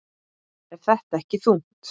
Er þetta ekki þungt?